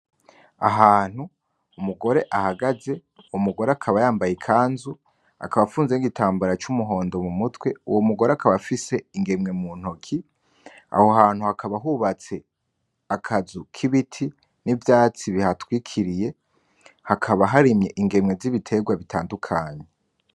Ahantu umugore ahagaze, uwo mugore akaba yambaye ikanzu akaba afunze n'igitambara c'umuhondo mumutwe , uwo mugore akaba afise ingemwe muntoke , aho hantu hakaba hubatse akazu kibiti n'ivyatsi bihatwikiriye , hakaba haremye ingemwe z'ibiterwa bitandukanye .